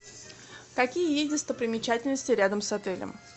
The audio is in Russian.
какие есть достопримечательности рядом с отелем